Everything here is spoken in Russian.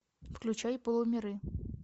включай полумиры